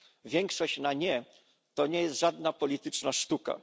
Większość na nie to nie jest żadna polityczna sztuka.